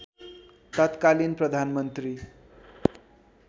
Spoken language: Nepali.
तत्कालीन प्रधानमन्त्री